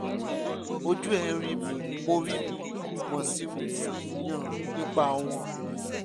ojú ẹ̀ ń rí mi mo rí mi mo sì ń ṣàníyàn nípa wọn